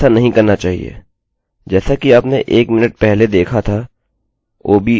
आपको ऐसा नहीं करना चाहिए